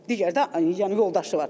Digər də yəni yoldaşı var.